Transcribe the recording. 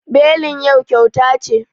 Belin yau kyauta ce